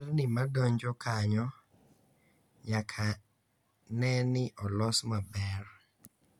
Nderni madonjo kanyo nyaka ne ni olos maber.